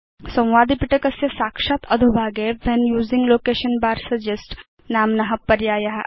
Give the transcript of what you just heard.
संवादपिटकस्य साक्षात् अधोभागे when using location bar suggest नाम्न पर्याय अस्ति